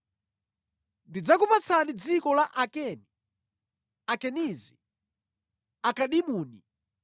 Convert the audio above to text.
Ndidzakupatsani dziko la Akeni, Akenizi, Akadimoni,